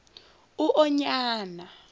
uonyana